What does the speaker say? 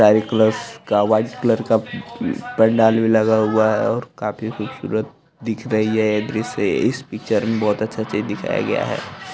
Colours का white colour का पंडाल भी लगा हुआ है और काफी खूबसूरत दिख रही है ये दृश्य इस पिक्चर में बहुत अच्छा चीज दिखाया गया है।